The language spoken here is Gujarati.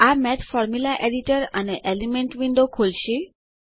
આ મેઠ ફોર્મુલા એડિટર અને એલિમેન્ટ વિન્ડો ખોલશે